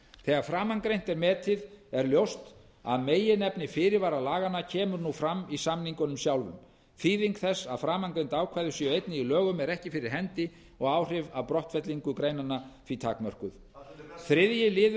þegar framangreint er metið er ljóst að meginefni fyrirvara laganna kemur nú fram í samningunum sjálfum þýðing þess að framangreind ákvæði séu einnig í lögunum er ekki fyrir hendi og áhrif af brottfelling greinanna eru því takmörkuð sameiginleg yfirlýsing þriðji liðurinn